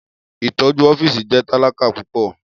Itọju ọfiisi jẹ talaka pupọ.